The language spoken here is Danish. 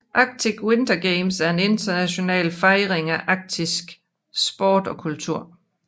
Arctic Winter Games er en international fejring af arktisk sport og kultur